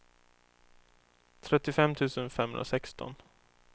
trettiofem tusen femhundrasexton